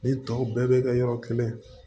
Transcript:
Ni tɔw bɛɛ bɛ kɛ yɔrɔ kelen